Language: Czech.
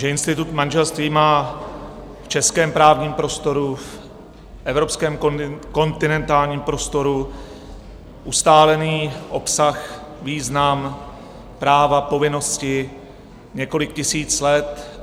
Že institut manželství má v českém právním prostoru, v evropském kontinentálním prostoru ustálený obsah, význam, práva, povinnosti několik tisíc let.